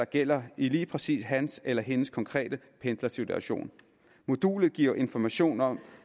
gælder i lige præcis hans eller hendes konkrete pendlersituation modulet giver informationer om